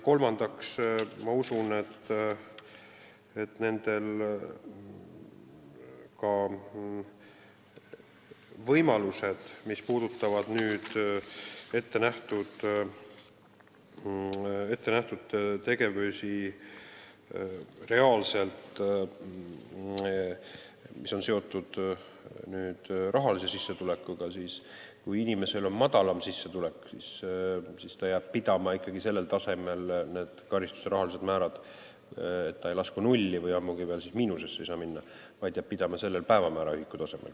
Kolmandaks, mis puudutab ettenähtud tegevusi, mis on seotud rahalise sissetulekuga, siis kui inimesel on madalam sissetulek, siis karistuse rahaline määr ei muutu küll nulliks, ammugi ei saa see miinusesse minna, vaid see jääb pidama päevamääraühiku tasemel.